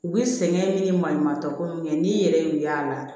U bɛ sɛgɛn ni maɲumantɔ ko min kɛ n'i yɛrɛ y'u y'a la